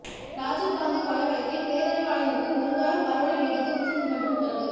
ராஜீவ் காந்தி கொலை வழக்கில் பேரறிவாளனுக்கு ஒரு வாரம் பரோலை நீட்டித்து உச்சநீதிமன்றம் உத்தரவு